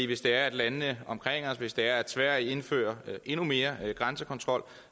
hvis det er at landene omkring os hvis det er at sverige indfører endnu mere grænsekontrol